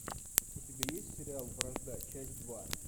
у тебя есть сериал вражда часть два